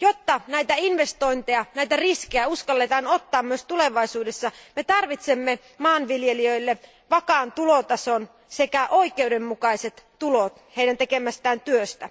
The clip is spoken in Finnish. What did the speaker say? Jotta investointeja ja riskejä uskalletaan ottaa myös tulevaisuudessa, me tarvitsemme maanviljelijöille vakaan tulotason sekä oikeudenmukaiset tulot heidän tekemästään työstä.